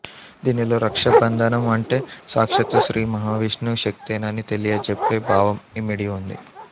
దీనిలో రక్షాబంధనం అంటే సాక్షాత్తూ శ్రీ మహావిష్ణు శక్తేనని తెలియచెప్పే భావం ఇమిడి ఉంది